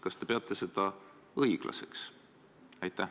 Kas te peate seda õiglaseks?